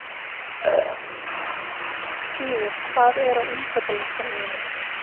Skíði, hvað er á innkaupalistanum mínum?